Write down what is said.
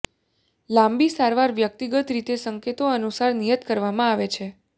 લાંબી સારવાર વ્યક્તિગત રીતે સંકેતો અનુસાર નિયત કરવામાં આવે છે